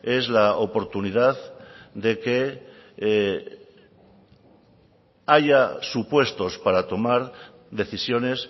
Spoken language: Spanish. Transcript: es la oportunidad de que haya supuestos para tomar decisiones